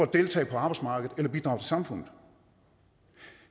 deltage på arbejdsmarkedet eller bidrage til samfundet